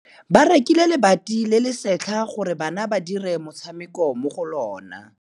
Ba rekile lebati le le setlha gore bana ba dire motshameko mo go lona.